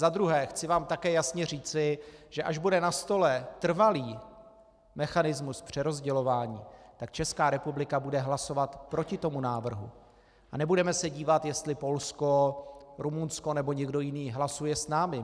Za druhé, chci vám také jasně říci, že až bude na stole trvalý mechanismus přerozdělování, tak Česká republika bude hlasovat proti tomu návrhu a nebudeme se dívat, jestli Polsko, Rumunsko nebo někdo jiný hlasuje s námi.